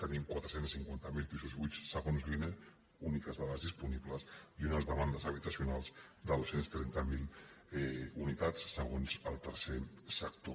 tenim quatre cents i cinquanta miler pisos buits segons l’ine úniques dades disponibles i unes demandes habitacionals de dos cents i trenta miler unitats segons el tercer sector